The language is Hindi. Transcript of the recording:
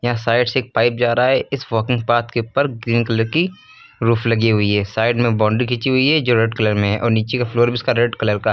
साइड से एक पाइप जा रहा है इस वॉकिंग पाथ के ऊपर ग्रीन कलर की रुफ लगी हुई है साइड में बाउंड्री खींची हुई है जो रेड कलर में है और नीचे का फ्लोर भी इसका रेड कलर का है।